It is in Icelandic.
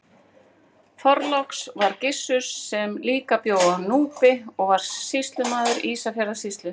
Þorláks var Gissur sem líka bjó á Núpi og var sýslumaður Ísafjarðarsýslu.